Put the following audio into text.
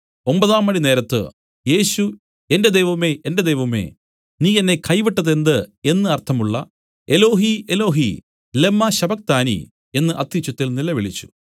ഒമ്പതാംമണി നേരത്ത് യേശു എന്റെ ദൈവമേ എന്റെ ദൈവമേ നീ എന്നെ കൈവിട്ടത് എന്ത് എന്നു അർത്ഥമുള്ള എലോഹീ എലോഹീ ലമ്മാ ശബ്ബക്താനീ എന്നു അത്യുച്ചത്തിൽ നിലവിളിച്ചു